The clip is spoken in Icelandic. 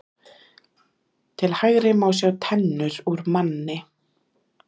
Til hægri má sjá tennur úr manni.